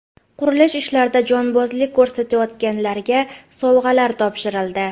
Qurilish ishlarida jonbozlik ko‘rsatganlarga sovg‘alar topshirildi.